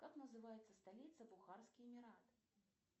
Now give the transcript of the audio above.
как называется столица бухарские эмираты